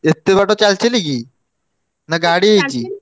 ଏତେ ବାଟ ଚାଲି ଚାଲିକି ନା ଗାଡି ହେଇଛି?